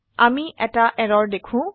আমি এটা এৰৰ দেখো